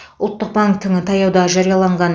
ұлттық банктің таяуда жарияланған